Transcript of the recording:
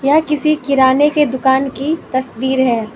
यह किसी किराने के दुकान की तस्वीर है।